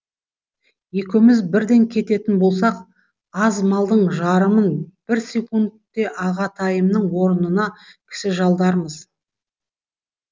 екеуіміз бірден кететін болсақ аз малдың жарымын бір секундте ағатайымның орнына кісі жалдармыз